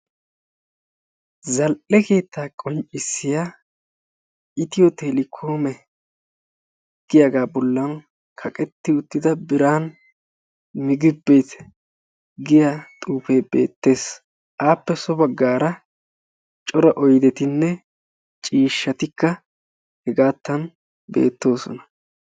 zal'e kettaa qonccissiya itiyo telekoome geetettiya kaqetti uttida biran migib bet giya xuufee beetees. appe so bagaara cora oydetinne ciishshati beetoosona.